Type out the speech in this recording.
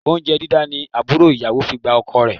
Oúnjẹ dídá ni àbúrò ìyàwó fi gba ọkọ rẹ